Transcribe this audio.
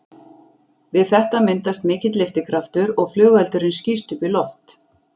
Við þetta myndast mikill lyftikraftur og flugeldurinn skýst upp í loft.